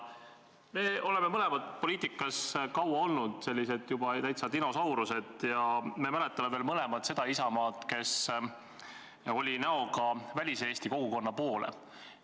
Me mõlemad oleme poliitikas olnud kaua, oleme juba täitsa dinosaurused, ja me mõlemad mäletame veel seda Isamaad, kes oli näoga Välis-Eesti kogukonna poole.